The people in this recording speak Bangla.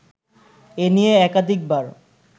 এ নিয়ে একাধিকবার